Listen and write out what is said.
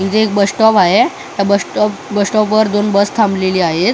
इथे एक bus stop आहे त्या बस स्टॉपवर बस थांबलेली आहेत.